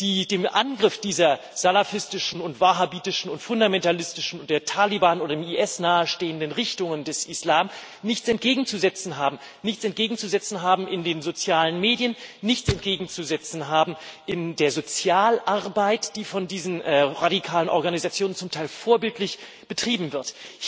die dem Angriff dieser salafistischen und wahhabitischen und fundamentalistischen und den Taliban oder dem IS nahestehenden Richtungen des Islam nichts entgegenzusetzen haben nichts entgegenzusetzen haben in den sozialen Medien, nichts entgegenzusetzen haben in der Sozialarbeit, die von diesen radikalen Organisationen zum Teil vorbildlich betrieben wird.